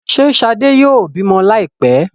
Ṣe shade yóò bimọ laipẹ?